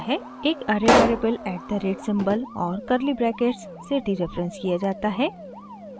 एक array variable at the rate @ symbol और curly brackets से डीरेफरेंस किया जाता है